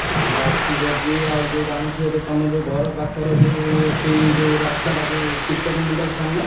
କାମ ଆସିଛି ଯଦି ଆଉ ଯୋଉ ଜାଣିଥିବ ତ ତମ ଯୋଉ ଘର ପାଖର ଯୋଉ ଏଠି ଯୋଉ ରାସ୍ତା ଟା ଯୋଉ କୀର୍ତନ ମଣ୍ଡପ ସାମନା।